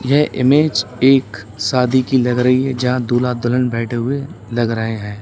यह इमेज एक शादी की लग रही है यहां दुल्हा दुल्हन बैठे हुए दिख रहे हैं।